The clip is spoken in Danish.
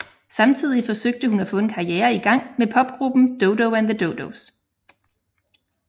Samtidig forsøgte hun at få en karriere i gang med popgruppen Dodo and the Dodos